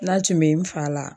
N'a tun bɛ n fa la.